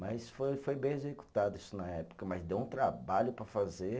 Mas foi foi bem executado isso na época, mas deu um trabalho para fazer.